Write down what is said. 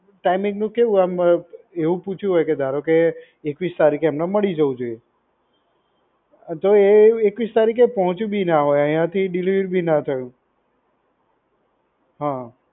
timing નું કેવું આમ એવું પૂછ્યું હોય કે ધારો કે એકવીસ તારીખે એમને મળી જવું જોઈએ. તો એ એકવીસમી તારીખે પહોચ્યું બી ના હોય. આયા થી delivery બી ના થય હોય. હઅ